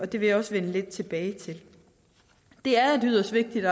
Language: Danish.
det vil jeg også vende lidt tilbage til det er et yderst vigtigt